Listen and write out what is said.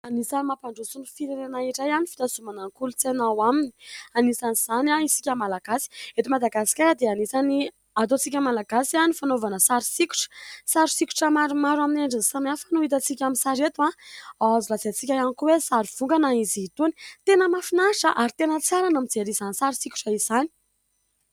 Anisan'ny mampandroso ny firenena iray ny fitazonana ny kolontsaina ao aminy, anisan'izany isika malagasy. Eto Madagasikara dia anisan'ny ataontsika malagasy ny fanaovana sary sokitra. Sary sokitra maromaro amin'ny endriny samy hafa no hitantsika amin'ny sary eto. Azo lazaintsika ihany koa hoe sary vongana izy itony. Tena mahafinaritra ary tena tsara ny mijery izany sary sokitra izany.